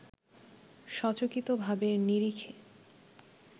সচকিত ভাবের নিরিখে